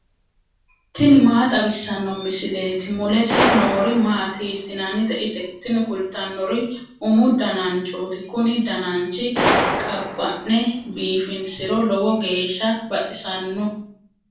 tini maa xawissanno misileeti ? mulese noori maati ? hiissinannite ise ? tini kultannori umu dananchooti kuni dananchi qabba'ne biifinsiro lowo geeshsha baxisanno.